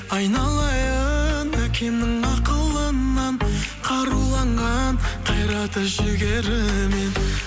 айналайын әкемнің ақылынан қаруланған қайраты жігерінен